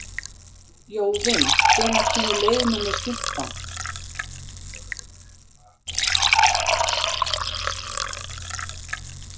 Jóvin, hvenær kemur leið númer fimmtán?